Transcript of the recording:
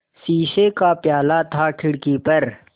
शीशे का प्याला था खिड़की पर